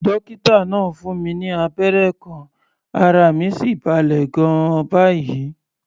Dókítà náà fún mi ní abẹ́rẹ́ kan, ara mi sì balẹ̀ gan-an báyìí.